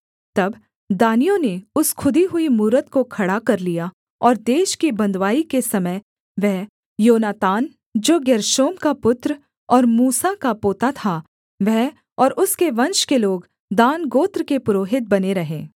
तब दानियों ने उस खुदी हुई मूरत को खड़ा कर लिया और देश की बँधुआई के समय वह योनातान जो गेर्शोम का पुत्र और मूसा का पोता था वह और उसके वंश के लोग दान गोत्र के पुरोहित बने रहे